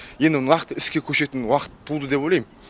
енді нақты іске көшетін уақыт туды деп ойлайм